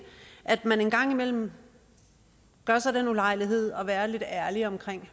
at man engang imellem gør sig den ulejlighed at være lidt ærlig om